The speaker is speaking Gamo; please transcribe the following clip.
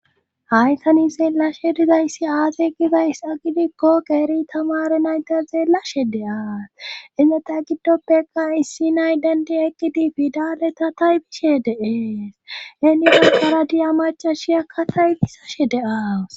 hay tani xeelashe dizayssi aazey gizays agidikko qeeri tamare nayta xeelashe de7aa innetay giddoppeka issi nay dendi eqqidi pidaleta taybishe de'ees henida karadiyamaca shiyakka taybisashe de'awus